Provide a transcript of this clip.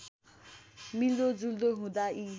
मिल्दोजुल्दो हुँदा यी